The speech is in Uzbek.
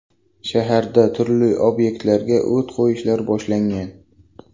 Shaharda turli obyektlarga o‘t qo‘yishlar boshlangan.